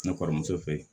Ne kɔrɔmuso fe yen